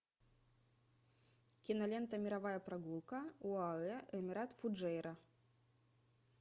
кинолента мировая прогулка оаэ эмират фуджейра